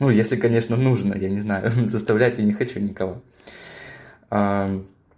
ну если конечно нужно я не знаю заставлять я не хочу никого